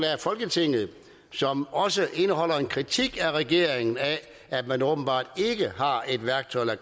folketinget og som også indeholder en kritik af at regeringen åbenbart ikke har et værktøj